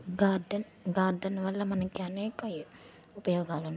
garden garden వళ్ళ మనకి అనేక ఉపాయోగాలున్న --